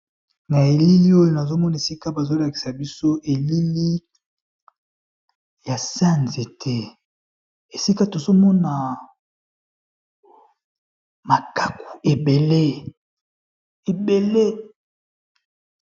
Na elili oyo nazo mona esika bazo lakisa biso elili ya se ya nzete, esika tozo mona makaku ebele.